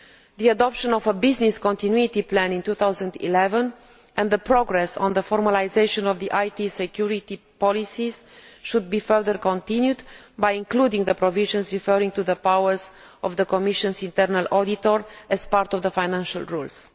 The adoption of a Business Continuity Plan in 2011 and the progress on the formalisation of the IT security policies should be further continued by including the provisions referring to the powers of the Commission's Internal Auditor as part of the financial rules.